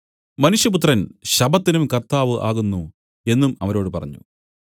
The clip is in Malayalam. മനുഷ്യപുത്രൻ ശബ്ബത്തിനും കർത്താവ് ആകുന്നു എന്നും അവരോട് പറഞ്ഞു